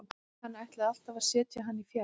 Hann ætlaði alltaf að setja hann í fjær.